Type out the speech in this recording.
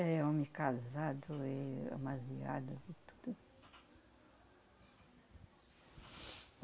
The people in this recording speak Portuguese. É homem casado e amasiado e tudo.